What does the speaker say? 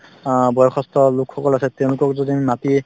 অ বয়সস্থ লোক সকল আছে তেওঁলোকক যদি আমি মাতি